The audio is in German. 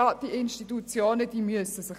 Diese Institutionen sollen sich bemühen.